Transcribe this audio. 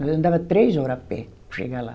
Nós andava três hora a pé para chegar lá.